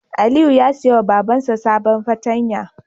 Aliyu ya siya ma Baban sa sabon fartanya